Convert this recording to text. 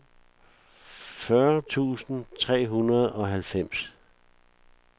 fyrre tusind tre hundrede og halvfems